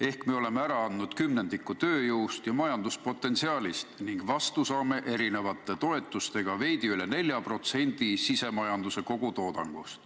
Ehk me oleme ära andnud kümnendiku oma tööjõust ja majanduspotentsiaalist ning vastu saame erinevate toetustega veidi üle nelja protsendi sisemajanduse kogutoodangust.